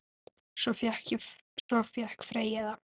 Svo fékk Freyja það.